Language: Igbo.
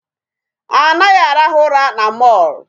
A naghị arahụ ụra na mall.